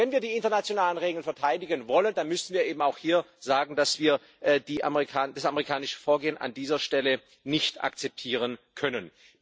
Wenn wir die internationalen Regeln verteidigen wollen, dann müssen wir hier auch sagen, dass wir das amerikanische Vorgehen an dieser Stelle nicht akzeptieren können.